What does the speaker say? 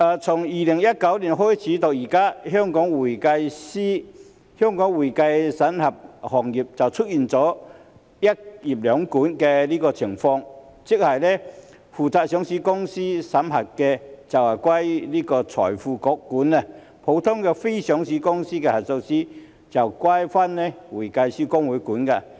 從2019年開始到現在，香港會計審計行業就出現"一業兩管"的情況，即是負責上市公司審計的，就歸財匯局監管；普通非上市公司的核數師，就歸會計師公會監管。